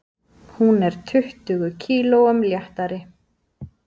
Hún er tuttugu kílóum léttari.